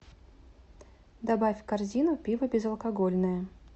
добавь в корзину пиво безалкогольное